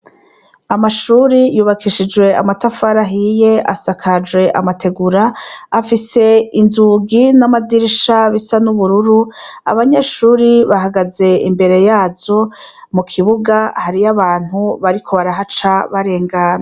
Amashure yubakishijwe amatafari ahiye asakajwe amategura, afise inzugi n'amadirisha bisa n'ubururu, abanyeshuri bahageze imbere yazo, mu kibuga hariho abantu bariko barahaca barengana.